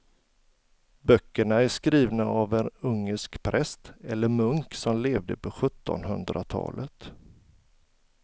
Böckerna är skrivna av en ungersk präst eller munk som levde på sjuttonhundratalet.